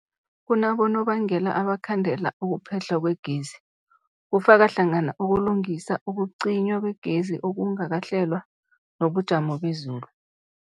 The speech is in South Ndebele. Kunabonobangela abangakhandela ukuphehlwa kwegezi, kufaka hlangana ukulungisa, ukucinywa kwegezi okungakahlelwa, nobujamo bezulu.